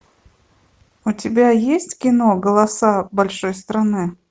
у тебя есть кино голоса большой страны